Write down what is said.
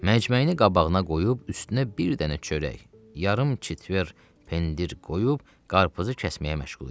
Məcməyini qabağına qoyub, üstünə bir dənə çörək, yarım kitver pendir qoyub, qarpızı kəsməyə məşğul idi.